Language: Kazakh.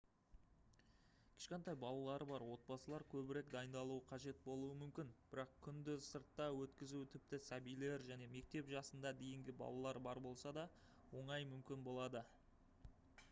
кішкентай балалары бар отбасылар көбірек дайындалуы қажет болуы мүмкін бірақ күнді сыртта өткізу тіпті сәбилер және мектеп жасына дейінгі балалар бар болса да оңай мүмкін болады